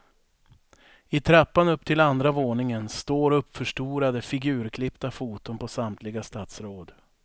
I trappan upp till andra våningen står uppförstorade, figurklippta foton på samtliga statsråd.